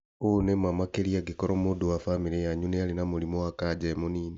ũ nĩ ma makĩria angĩkorwo mũndũ wa bamĩrĩ yanyu nĩarĩ na mũrimũ wa kanja e mũnini